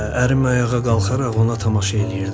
Ərim ayağa qalxaraq ona tamaşa eləyirdi.